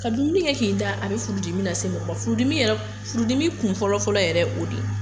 Ka dumuni kɛ k'i da a bɛ furudimi lase mɔgɔ ma, furudimi yɛrɛ, furudimi kun fɔlɔfɔlɔ yɛrɛ o de ye.